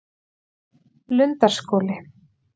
Lundarskóli